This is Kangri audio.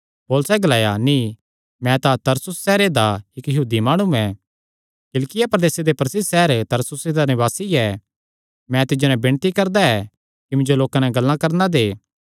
पौलुसैं ग्लाया नीं मैं तां तरसुस सैहरे दा यहूदी माणु ऐ किलिकिया प्रदेसे दे प्रसिद्ध सैहर तरसुसे दा निवासी ऐ मैं तिज्जो नैं विणती करदा ऐ कि मिन्जो लोकां नैं गल्लां करणा दे